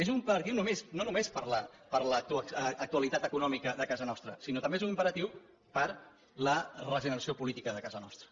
és un imperatiu no només per l’actualitat econòmica de casa nostra sinó que també és un imperatiu per a la regeneració política de casa nostra